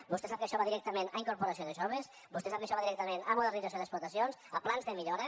vostè sap que això va directament a incorporació de joves vostè sap que això va directament a modernització d’explotacions a plans de millora